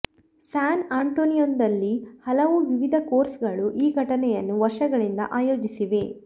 San ಆಂಟೋನಿಯೊದಲ್ಲಿ ಹಲವು ವಿವಿಧ ಕೋರ್ಸ್ಗಳು ಈ ಘಟನೆಯನ್ನು ವರ್ಷಗಳಿಂದ ಆಯೋಜಿಸಿವೆ